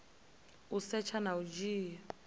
u setsha na u dzhia